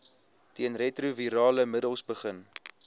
teenretrovirale middels begin